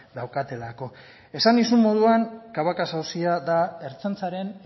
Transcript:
daukatelako esan nizun moduan cabacas auzia da ertzaintzaren